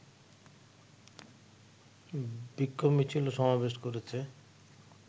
বিক্ষোভ মিছিল ও সমাবেশ করেছে